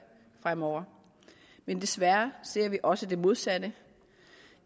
fremover men desværre ser vi også det modsatte